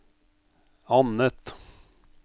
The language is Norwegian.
annet